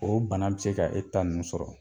O bana bi se ka e ta ninnu sɔrɔ.